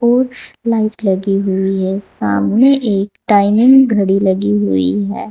और लाइट लगी हुई हैं सामने एक टाइमिंग घड़ी लगी हुई है।